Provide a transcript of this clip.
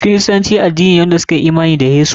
Kiristanci addini ne da suka yi imani da Yesu.